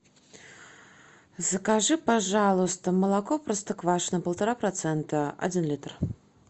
закажи пожалуйста молоко простоквашино полтора процента один литр